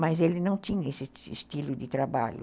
Mas ele não tinha esse estilo de trabalho.